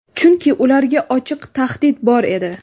Chunki ularga ochiq tahdid bor edi.